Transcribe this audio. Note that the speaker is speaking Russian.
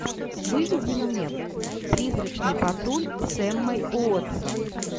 выведи мне призрачный патруль с эммой уотсон